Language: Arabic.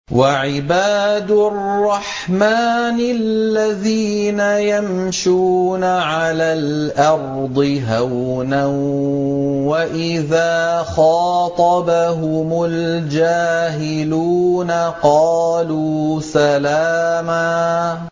وَعِبَادُ الرَّحْمَٰنِ الَّذِينَ يَمْشُونَ عَلَى الْأَرْضِ هَوْنًا وَإِذَا خَاطَبَهُمُ الْجَاهِلُونَ قَالُوا سَلَامًا